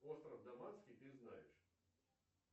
остров даманский ты знаешь